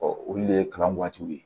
olu le ye kalan waatiw ye